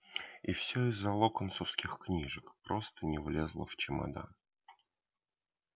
и все из-за локонсовских книжек просто не влезла в чемодан